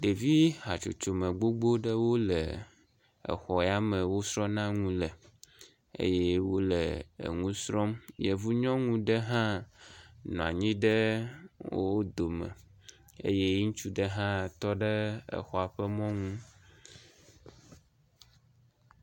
ɖevi hatsotsome gbogbó ɖewo le exɔyame wosrɔna nu le eye wóle eŋusrɔm yevu nyɔŋu ɖe hã nɔanyi ɖe wó dome e